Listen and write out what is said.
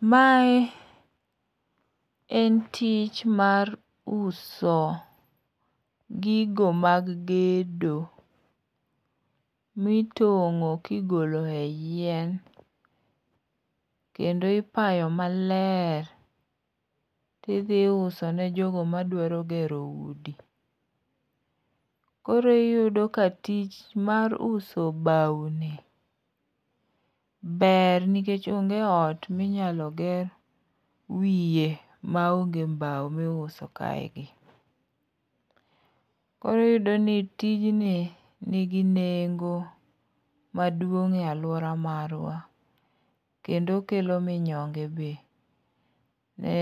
Mae en tich mar uso gigo mag gedo, mitong'o kigolo e yien, kendo ipayo maler tidhi iusone jogo madwaro gero udi. Koro iyudo ka tich mar uso bawoni ber nikech onge ot minyalo ger wiye maonge mbao miuso kaegi. Koro iyudo ni tijni nigi nengo maduong' e alwora marwa ,kendo okelo minyonge be ne